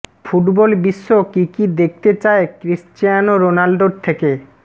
football বিশ্ব কী কী দেখতে চায় ক্রিশ্চিয়ানো রোনাল্ডোর থেকে